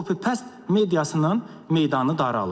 Copy-paste mediasının meydanı daralıb.